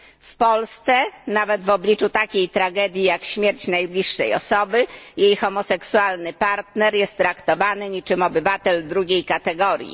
W Polsce nawet w obliczu takiej tragedii jak śmierć najbliższej osoby jej homoseksualny partner jest traktowany niczym obywatel drugiej kategorii.